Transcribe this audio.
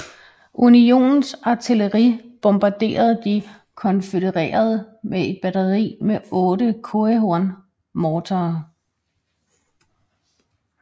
Unionens artilleri bombarderede de konfødererede med et batteri med otte Coehorn morterer